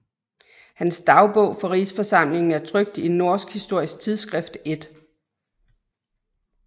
Hans dagbog fra Rigsforsamlingen er trykt i Norsk Historisk Tidsskrift 1